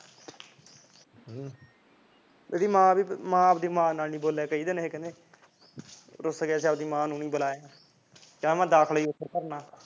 ਇਹ ਆਪ ਦੀ ਮਾਂ ਨਾਲ ਨੀ ਬੋਲਿਆ ਕਹਿੰਦੇ ਕਈ ਦਿਨ ਰੁੱਸ ਗਿਆ ਸੀ ਆਪ ਦੀ ਮਾਂ ਨੂੰ ਨਹੀਂ ਬੁਲਾਇਆ ਕਹਿੰਦਾ ਮੈਂ ਦਾਖਲਾ ਉੱਥੇ ਭਰਨਾ